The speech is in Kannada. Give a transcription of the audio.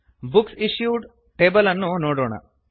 ಬುಕ್ಸ್ ಇಶ್ಯೂಡ್ ಟೇಬಲ್ ಅನ್ನು ನೋಡೋಣ